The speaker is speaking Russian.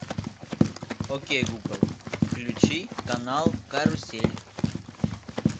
окей гугл включи канал карусель